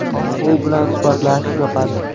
U bilan suhbatlashish yoqadi.